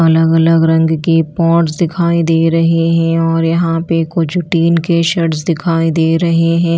अलग अलग रंग के पॉट्स दिखाई दे रहे हैं और यहाँ पे कुछ टीन के शेड्स दिखाई दे रहे हैं।